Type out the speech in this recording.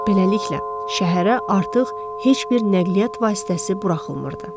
Beləliklə, şəhərə artıq heç bir nəqliyyat vasitəsi buraxılmırdı.